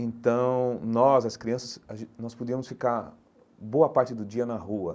Então, nós, as crianças, a gen nós podíamos ficar boa parte do dia na rua.